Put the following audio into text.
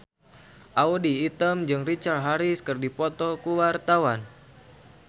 Audy Item jeung Richard Harris keur dipoto ku wartawan